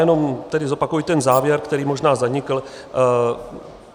Jenom tedy zopakuji ten závěr, který možná zanikl.